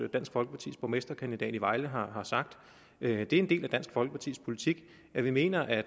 dansk folkepartis borgmesterkandidat i vejle har har sagt det er en del af dansk folkepartis politik at vi mener at